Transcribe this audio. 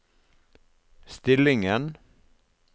stillingen